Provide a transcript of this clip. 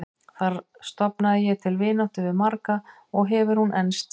Þar stofnaði ég til vináttu við marga og hefur hún enst síðan.